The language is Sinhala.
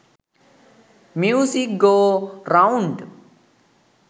music go round